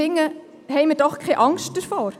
Haben wir doch keine Angst davor!